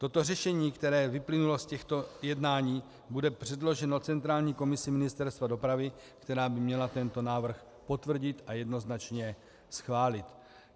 Toto řešení, které vyplynulo z těchto jednání, bude předloženo centrální komisi Ministerstva dopravy, která by měla tento návrh potvrdit a jednoznačně schválit.